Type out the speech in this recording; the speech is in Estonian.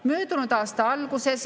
Möödunud aasta alguses ...